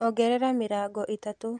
Ongerera mĩrongo ĩtatũ.